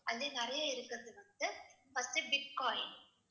அதுலயும் நிறைய இருக்கிறது வந்துட்டு first பிட்காயின்.